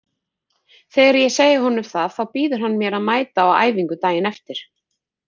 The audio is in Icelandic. Þegar ég segi honum það þá býður hann mér að mæta á æfingu daginn eftir.